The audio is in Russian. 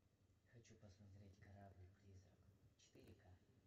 хочу посмотреть корабль призрак четыре ка